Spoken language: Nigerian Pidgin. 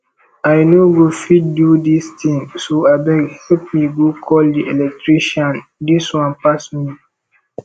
i no go fit do dis thing so abeg help me go call the electrician dis one pass me